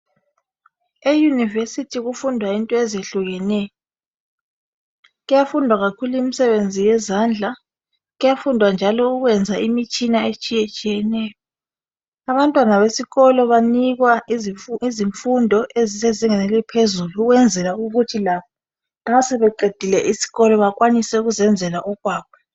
e university kufundwa into ezehlukeneyo kuyafundwa kakhulu imisebenzi yezendla kuyafundwa njalo ukwenza imitshina etshiyeneyo abantwana besikolo banikwa izimfundo ezisezingeni eliphezulu ukwenzela ukuthi labo nxa sebeqedile isikolo bkwanise ukuzenzela okwabo